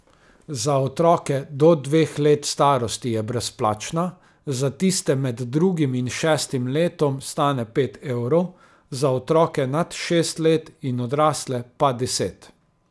Za otroke do dveh let starosti je brezplačna, za tiste med drugim in šestim letom stane pet evrov, za otroke nad šest let in odrasle pa deset.